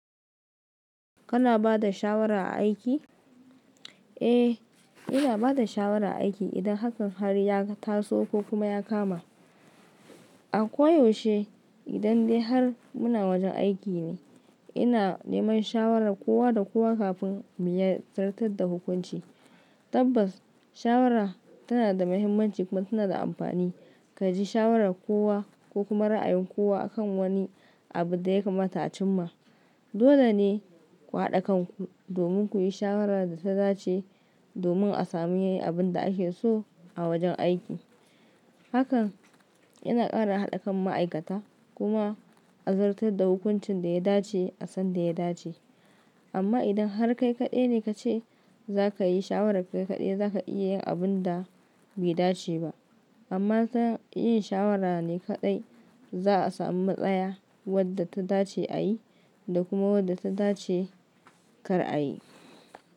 Kana ba da shawara a aiki? Eh, ina ba da shawara a aiki idan hakan har ya taso ko kuma ya kama. A ko yaushe idan dai har muna wajen aiki ne, ina neman shawarar kowa da kowa kafin mu yi zartar da hukunci. Tabbas, shawara tana da mahimmanci kuma tana da amfani. Ka ji shawarar kowa ko kuma ra'ayin kowa a kan wani abu da ya kamata a cimma. Dole ne ku haɗa kan ku domin ku yi shawarar da ta dace domin a sami abin da ake so a wajen aiki. Hakan yana ƙara haɗa kan ma'aikata kuma a zartar da hukuncin da ya dace a sanda ya dace. Amma idan har kai kaɗai ne ka ce za ka yi shawararka kaɗai, za ka iya yin abun da bai dace ba. Amma ta yin shawara ne kaɗai, za a sami tsaya wadda ta dace a yi da kuma wadda ta dace kar a yi.